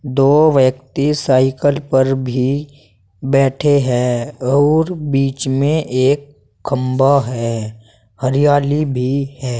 दो व्यक्ति साइकल पर भी बैठे हैं और बीच में एक खंभा है हरियाली भी है।